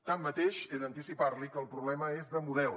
tanmateix he d’anticipar li que el problema és de model